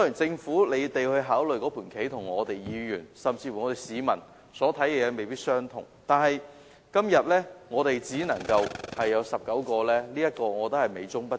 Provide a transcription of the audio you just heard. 政府所考慮的事宜與議員甚至市民所考慮的事宜未必相同，但今天小巴座位只能增至19個，這是美中不足。